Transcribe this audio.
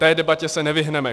Té debatě se nevyhneme.